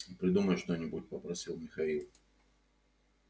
придумай что-нибудь попросил михаил